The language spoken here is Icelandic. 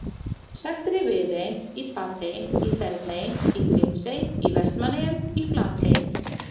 Sagt er í Viðey, í Papey, í Þerney, í Grímsey, í Vestmannaeyjum, í Flatey.